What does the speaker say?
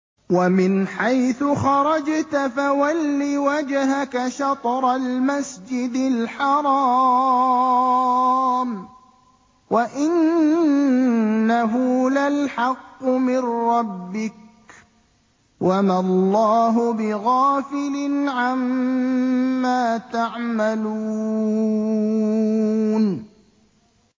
وَمِنْ حَيْثُ خَرَجْتَ فَوَلِّ وَجْهَكَ شَطْرَ الْمَسْجِدِ الْحَرَامِ ۖ وَإِنَّهُ لَلْحَقُّ مِن رَّبِّكَ ۗ وَمَا اللَّهُ بِغَافِلٍ عَمَّا تَعْمَلُونَ